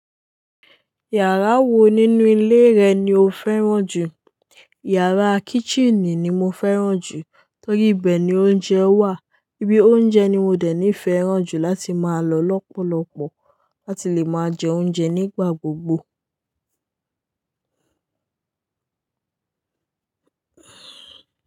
Yàrá wo nínú ilé rẹ ni o fẹ́ràn jù? Yàrá kitchenì ni mo fẹ́ràn jù torí ibẹ̀ ni oúnjẹ wà, ibi oúnjẹ ni mo dé nifẹ́ràn jù láti máa lọ lọ́pọ̀lọpọ̀ láti lè máa jẹ oúnjẹ nígbà gbogbo.